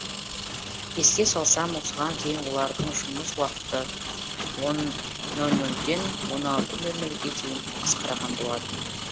еске салсам осыған дейін олардың жұмыс уақыты он нөл нөлден он алты нөл нөлге дейін қысқарған болатын